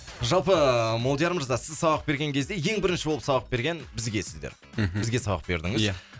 жалпы молдияр мырза сіз сабақ берген кезде ең бірінші болып сабақ берген бізге сіздер мхм бізге сабақ бердіңіз ия